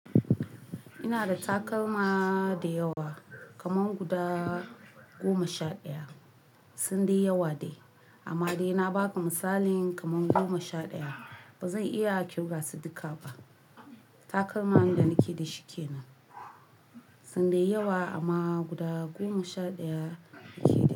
Ina da takalma dayawa kaman guda goma sha ɗaya. Sun dai yawa dai amma dai na baka misalin kaman goma sha ɗaya. Ba zan iya kirga su dukka ba. Takalman da nake da shi kenan. Sun dai yawa amma guda goma sha ɗaya nake dashi.